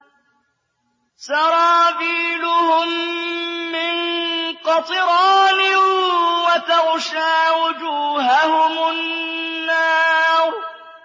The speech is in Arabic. سَرَابِيلُهُم مِّن قَطِرَانٍ وَتَغْشَىٰ وُجُوهَهُمُ النَّارُ